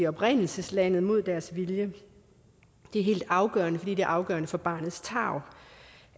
oprindelseslandet mod deres vilje det er helt afgørende fordi det er afgørende for barnets tarv